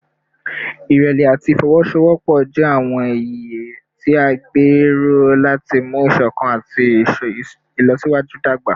Ìrẹ̀lẹ̀ àti ìfọwọ́sowọ́pọ̀ jẹ́ àwọn iye tí a gbé ró láti mú ìṣọ̀kan àti ìlọsíwájú dàgbà